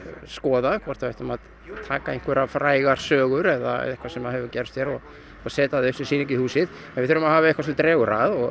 skoða hvort við ættum að taka einhverjar frægar sögur eða eitthvað sem hefur gerst hér og setja það upp sem sýningu í húsið við þurfum að hafa eitthvað sem dregur að og